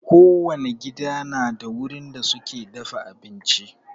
Kowane gida na da wurin da suke dafa abinci.